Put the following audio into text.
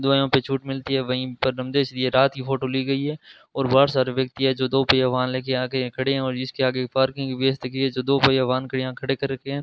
दवाईयों पर छूट मिलती है वहीं पर जैसे रात की फोटो ली गई है और बहुत सारे व्यक्ति हैं जो दो पहिया वाहन लेकर आके यहां खड़े हैं और इसके आगे पार्किंग की व्यवस्था की गई है जिससे कि दो पहिया वाहन यहां खड़े कर रखे हैं।